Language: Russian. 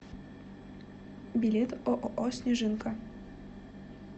билет ооо снежинка